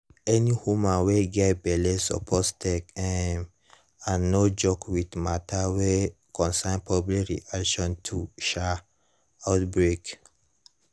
any woman wey get belle suppose take um and no joke with matters wey concern public reaction to um outbreak